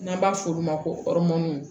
N'an b'a f'olu ma ko ɔrɔmu